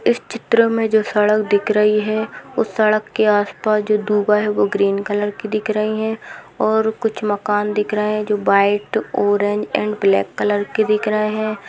इस चित्र में जो सड़क दिख रही है उस सड़क के आस पास दूबा है वह ग्रीन कलर की दिख रही है और कुछ मकान दिख रहे हैं जो white orange and black colour के दिख रहे हैं।